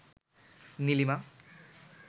Nilima